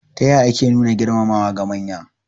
Ta ya ake nuna girmamawa ga manya?